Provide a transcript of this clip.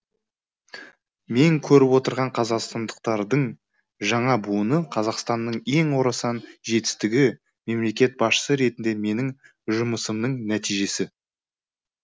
мен көріп отырған қазақстандықтардың жаңа буыны қазақстанның ең орасан жетістігі мемлекет басшысы ретіндегі менің жұмысымның нәтижесі